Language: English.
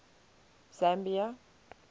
zambia